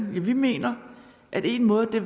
vi mener at én måde kunne